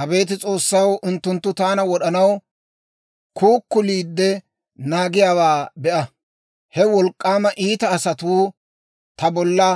Abeet S'oossaw, unttunttu taana wod'anaw kuukuliide naagiyaawaa be'a! He wolk'k'aama iita asatuu ta bolla